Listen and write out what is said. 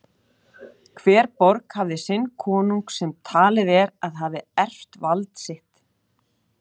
Hver borg hafði sinn konung sem talið er að hafi erft vald sitt.